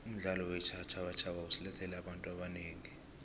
umdlalo weentjhabatjhaba usilethele abantu abanengi